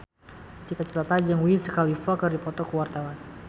Cita Citata jeung Wiz Khalifa keur dipoto ku wartawan